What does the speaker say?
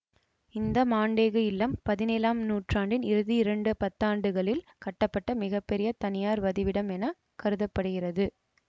இந்த மான்டேகு இல்லம் பதினேழாம் நூற்றாண்டின் இறுதி இரண்டு பத்தாண்டுகளில் கட்டப்பட்ட மிக பெரிய தனியார் வதிவிடம் என கருத படுகிறது